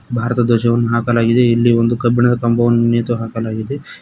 ಭಾರತ ಧ್ವಜವನ್ನು ಹಾಕಲಾಗಿದೆ ಇಲ್ಲಿ ಒಂದು ಕಬ್ಬಿಣದ ಕಂಬವನ್ನು ನೇತು ಹಾಕಲಾಗಿದೆ.